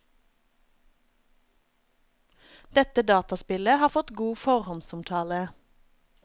Dette dataspillet har fått god forhåndsomtale.